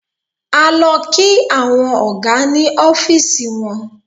A lọ kí àwọn ọ̀gá ní ọ́fíísì wọn.